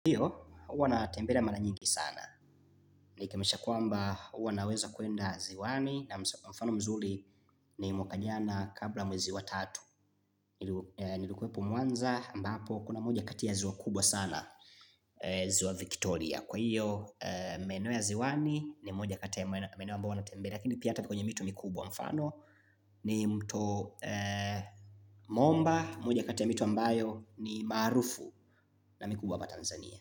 Hiyo, huwa na tembelea maranyingi sana. Ni kemesha kwamba huwa naweza kwenda ziwani na mfano mzuri ni mwaka jana kabla ya mwezi wa tatu. Nilikuwepo mwanza ambapo kuna moja kati ya ziwa kubwa sana ziwa Victoria. Kwa hiyo, maeneo ya ziwani ni moja kati ya maeneo ambayo huwa na tembelea. laKini pia hata kwenye mito mikubwa mfano ni mto momba. Moja katia mito ambayo ni maarufu na mikubwa hapa Tanzania.